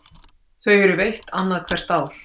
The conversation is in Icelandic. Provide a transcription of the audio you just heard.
Þau eru veitt annað hvert ár